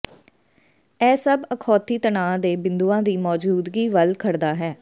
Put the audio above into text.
ਇਹ ਸਭ ਅਖੌਤੀ ਤਣਾਅ ਦੇ ਬਿੰਦੂਆਂ ਦੀ ਮੌਜੂਦਗੀ ਵੱਲ ਖੜਦਾ ਹੈ